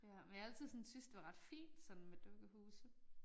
Ja men jeg har altid sådan syntes det var ret fint sådan med dukkehuse